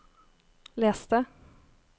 les det